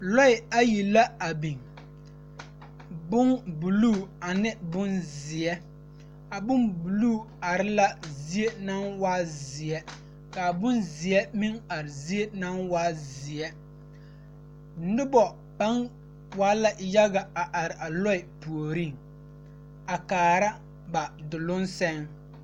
Lɔɛ ayi la a biŋ bombuluu ane bonzeɛ a bombuluu are la zie naŋ waa zeɛ ka a bonzeɛ meŋ are zie naŋ waa zeɛ noba paŋ waa la yaɡa a are a lɔɛ puoriŋ a kaara ba doloŋ sɛŋ.